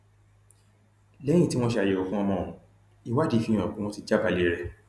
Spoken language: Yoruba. lẹyìn tí wọn ṣe àyẹwò fún ọmọ ohun ìwádìí fi hàn pé wọn ti jábàálẹ rẹ